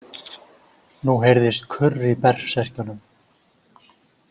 Nú heyrðist kurr í berserkjunum.